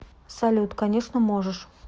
салют конечно можешь